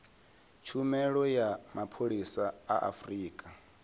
tshumelo ya mapholisa a afurika